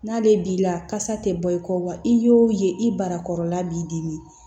N'ale b'i la kasa tɛ bɔ i kɔ wa i y'o ye i barakɔrɔla b'i dimi